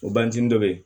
O banzin dɔ bɛ ye